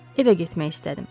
Evə getmək istədim.